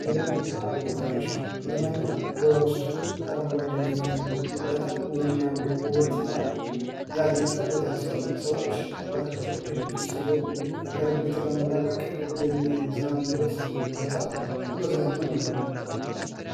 መዝናኛና መናፈሻ መዝናኛ በውስጡ አረንጓዴ የሆነ በጣም የሚያምር ውበትና ያጌጠ ቦታ ሲሆን ሰዎች ራሳቸውን ከድብርት ለማላቀቅ የሚዝናኑበት ቦታ መዝናኛ እንለዋለን።